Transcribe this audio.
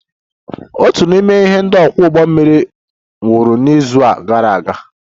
Otu n'ime ndị ọkwọ ụgbọ mmiri nwụrụ n'izu gara aga